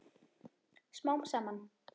Smám saman.